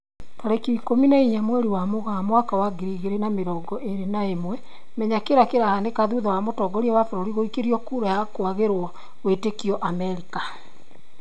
Tarĩki ikũmi na inya mweri wa Mũgaa mwaka wa ngiri igĩri na mĩrongo ĩri na ĩmwe, Menya kĩrĩa kĩrahanĩka thutha wa mũtongoria wa bũrũri guikĩrio kura ya kwagĩrwo wĩtĩkio Amerika